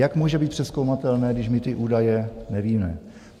Jak může být přezkoumatelné, když my ty údaje nevíme.